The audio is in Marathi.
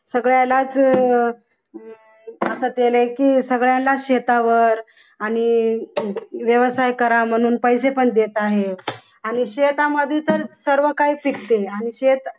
सगळ्यालाच अह असं केलं की सगळ्यांनाच शेतावर आणि व्यवसाय करा म्हणून पैसे पण देत आहे आणि शेतामध्ये तर सर्वकाही पिकते आणि शेत